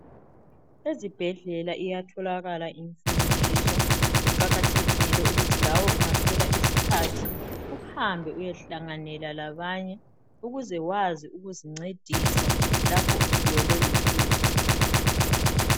Ezibhedlela iyatholakala imfundiso. Kuqakathekile ukuthi lawe ungathola isikhathi uhambe uyehlanganela labanye ukuze wazi ukuzincedisa lapho usuwelwe luhlupho.